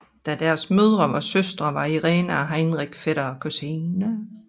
Da deres mødre var søstre var Irene og Heinrich fætter og kusine